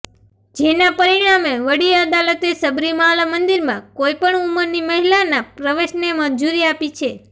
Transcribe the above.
જેના પરિણામે વડી અદાલતે સબરીમાલા મંદિરમાં કોઈ પણ ઉમરની મહિલાના પ્રવેશને મંજૂરી આપી છે